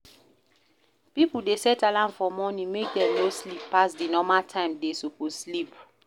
Pipo de set alarm for morning make dem no sleep pass di normal time dem suppose sleep